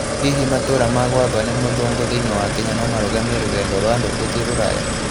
Hihi 'matũũra ma gwathwo ni muthũngu' thĩinĩ wa Kenya no marũgamie rũgendo rwa andũ gũthiĩ Rũraya?